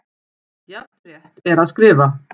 Jafn rétt er að skrifa